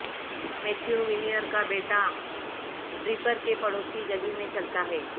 Matthew Weiner کا بیٹا Draper کے پڑوسی گلی میں چلتا ہے